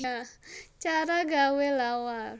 Cara gawé lawar